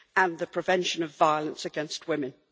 and the prevention of violence against women.